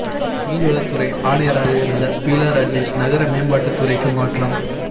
மீன் வளத்துறை ஆணையராக இருந்த பீலா ராஜேஷ் நகர மேம்பாட்டுத் துறைக்கு மாற்றம்